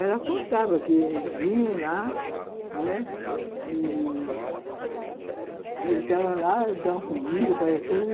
Ela contava que eles iam lá, né, e, entravam lá, davam comida